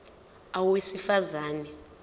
a owesifaz ane